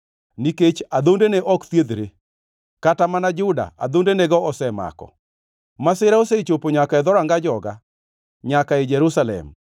Nikech adhondene ok thiedhre; kata mana Juda adhondenego osemako. Masira osechopo nyaka e dhoranga joga, nyaka ei Jerusalem.